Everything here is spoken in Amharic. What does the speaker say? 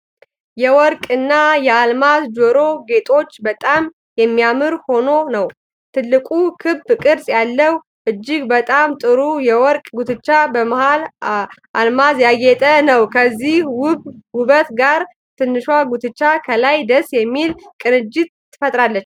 የወርቅ እና የአልማዝ ጆሮ ጌጦች በጣም የሚያምር ሆኖ ነው። ትልቁ ክብ ቅርጽ ያለው እጅግ በጣም ጥሩ የወርቅ ጉትቻ በሙሉ አልማዝ ያጌጠ ነው። ከዚህ ውብ ውበት ጋር ትንሿ ጉትቻ ከላይ ደስ የሚል ቅንጅት ፈጥራለች።